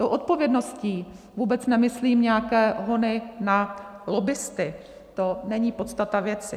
Tou odpovědností vůbec nemyslím nějaké hony na lobbisty, to není podstata věci.